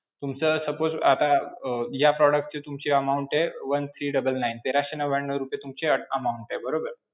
तुमचं suppose आता अं या product ची तुमची amount आहे one three double nine. तेराशे नव्यानऊ रुपये तुमची amount आहे, बरोबर?